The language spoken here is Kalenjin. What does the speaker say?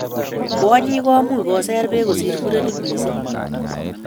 Kwonyik ko much koser bek kosir muren missing